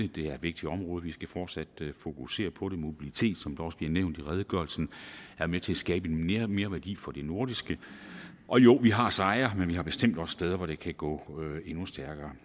det er et vigtigt område vi skal fortsat fokusere på det mobilitet som der også bliver nævnt i redegørelsen er med til at skabe en merværdi for det nordiske og jo vi har sejre men vi har bestemt også steder hvor det kan gå endnu stærkere